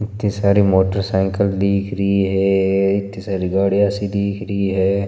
इत्ती सारी motor cycle दिख रही है इत्ती सारी गाड़िया सी दिख रही है।